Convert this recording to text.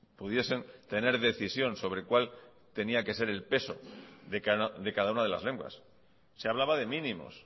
pudiesen tener decisión sobre cuál tenía que ser el peso de cada una de las lenguas se hablaba de mínimos